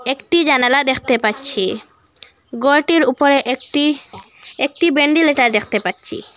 একটি জানালা দেখতে পাচ্ছি গরটির উপরে একটি একটি বেন্ডিলিটার দেখতে পাচ্ছি।